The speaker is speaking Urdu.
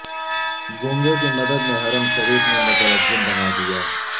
گونگے کی مدد نے حرم شریف میں مترجم بنادیا